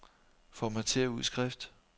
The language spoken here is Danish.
Formatér udskrift.